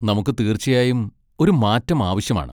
നമുക്ക് തീർച്ചയായും ഒരു മാറ്റം ആവശ്യമാണ്.